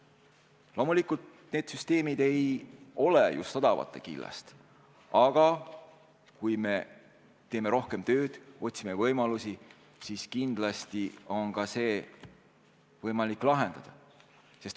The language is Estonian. Loomulikult, need süsteemid ei ole just odavate killast, aga kui me teeme rohkem tööd, otsime võimalusi, siis kindlasti on võimalik neid lahendada.